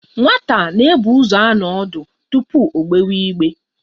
Nwata na-ebu ụzọ anọ ọdụ tupu o gbewa igbe.